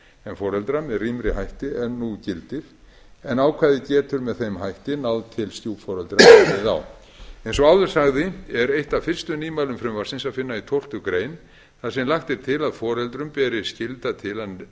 foreldra með rýmri hætti en nú gildir en ákvæðið getur með þeim hætti náð til stjúpforeldra ef við á eins og áður sagði er eitt af fyrstu nýmælum frumvarpsins að finna í tólftu grein þar sem lagt er til að foreldrum beri skylda til að